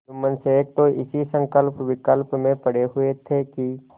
जुम्मन शेख तो इसी संकल्पविकल्प में पड़े हुए थे कि